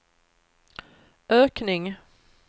ökning